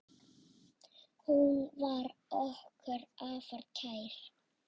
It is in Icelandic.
Hún var okkur afar kær.